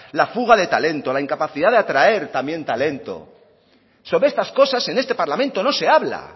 la fuga de talentos la incapacidad de atraer también talento sobre estas cosas en este parlamento no se habla